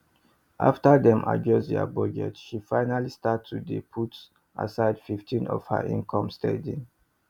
after dem adjust dia budget she finally start to dey put aside 15 of her income steady